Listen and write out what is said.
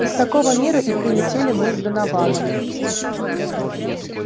из такого мира и прилетели мы с донованом